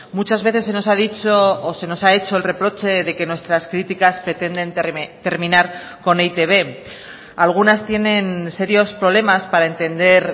muchas veces se nos ha dicho o se nos ha hecho el reproche de que nuestras críticas pretenden terminar con e i te be algunas tienen serios problemas para entender